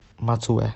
мацуэ